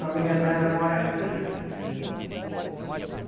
Família dela mora aqui.